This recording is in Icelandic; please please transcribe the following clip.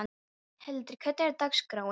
Hyltir, hvernig er dagskráin?